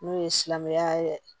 N'o ye silamɛya yɛrɛ ye